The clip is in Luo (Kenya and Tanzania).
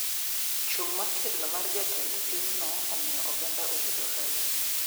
Chung` motegno mar jatend piny no omiyo oganda oyudo hawi